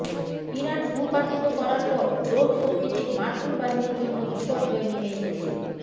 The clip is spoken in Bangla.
ইরান ভূপাতিত করার পর ড্রোন শক্তিতে মার্কিন বাহিনীর জন্য বিপর্যয় নেমে এসেছে